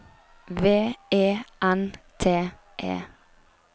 V E N T E